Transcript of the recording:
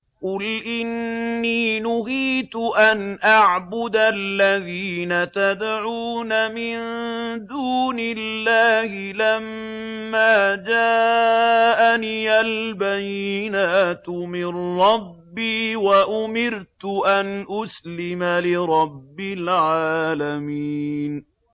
۞ قُلْ إِنِّي نُهِيتُ أَنْ أَعْبُدَ الَّذِينَ تَدْعُونَ مِن دُونِ اللَّهِ لَمَّا جَاءَنِيَ الْبَيِّنَاتُ مِن رَّبِّي وَأُمِرْتُ أَنْ أُسْلِمَ لِرَبِّ الْعَالَمِينَ